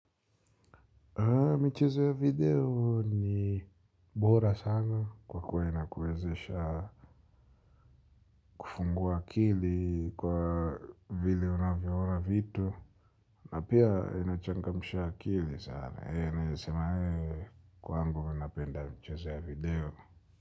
Michezo ya video ni bora sana kwa kuwa inakuwezesha kufungua akili kwa vile unavyoona vitu na pia inachangamsha akili sana, ee, naweza sema ee kwangu mi napenda michezo ya video.